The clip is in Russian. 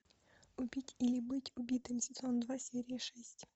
убить или быть убитым сезон два серия шесть